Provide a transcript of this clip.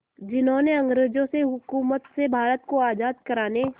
जिन्होंने अंग्रेज़ों की हुकूमत से भारत को आज़ाद कराने